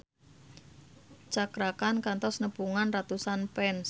Cakra Khan kantos nepungan ratusan fans